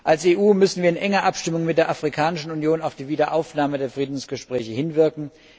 Als EU müssen wir in enger Abstimmung mit der Afrikanischen Union auf die Wiederaufnahme der Friedensgespräche hinwirken.